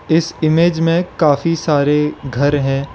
इस इमेज में काफी सारे घर हैं।